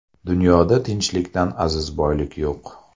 Dunyoda tinchlikdan aziz boylik yo‘q.